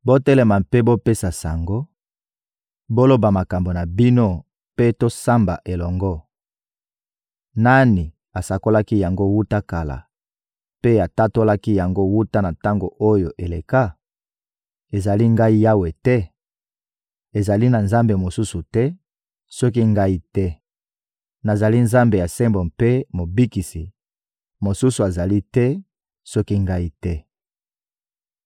Botelema mpe bopesa sango, boloba makambo na bino mpe tosamba elongo! Nani asakolaki yango wuta kala mpe atatolaki yango wuta na tango oyo eleka? Ezali Ngai Yawe te? Ezali na Nzambe mosusu te, soki Ngai te. Nazali Nzambe ya sembo mpe Mobikisi; mosusu azali te, soki Ngai te.